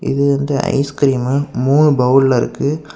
இது வந்து ஐஸ்கிரீம்மு மூணு பவுல்ல இருக்கு.